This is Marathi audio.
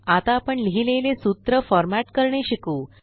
आता आपण लिहिलेले सूत्र फॉरमॅट करणे शिकू